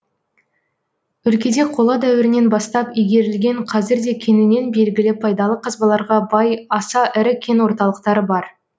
өлкеде қола дәуірінен бастап игерілген қазір де кеңінен белгілі пайдалы қазбаларға бай аса ірі кен орталықтары бар